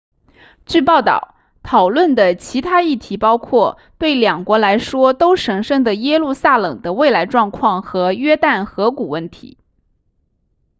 据报道讨论的其他议题包括对两国来说都神圣的耶路撒冷的未来状态和约旦河谷问题